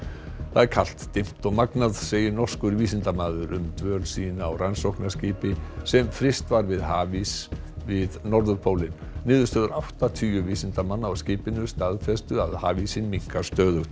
það er kalt dimmt og magnað segir norskur vísindamaður um dvöl sína á rannsóknarskipi sem fryst var við hafís við norðurpólinn niðurstöður áttatíu vísindamanna á skipinu staðfestu að hafísinn minnkar stöðugt